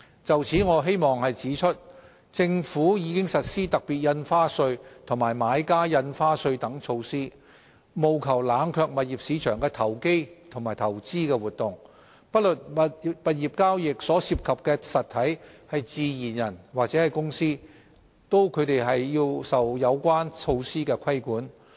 就此，我希望指出，政府已實施特別印花稅及買家印花稅等措施，務求冷卻物業市場的投機及投資活動；不論物業交易所涉及的實體是自然人或公司，均受有關措施規管。